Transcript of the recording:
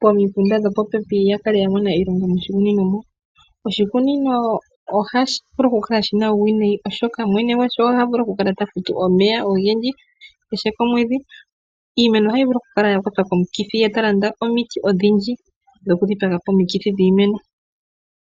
pomikunda dhopo pepi ya kale ya mona iilonga moshikunino moka. Oshikunino ohashi vulu oku kala shina uuwinayi oshoka mwene gwasho ota vulu oku kala ta futu omeya ogendji kehe komwedhi. Iimeno ohayi vulu oku kala ya kwatwa komikithi, ye ta landa omiti odhidji dhoku dhipagapo omikithi dhiimeno.